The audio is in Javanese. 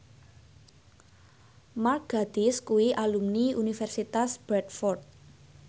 Mark Gatiss kuwi alumni Universitas Bradford